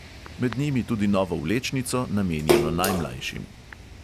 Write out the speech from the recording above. Med njimi tudi novo vlečnico, namenjeno najmlajšim.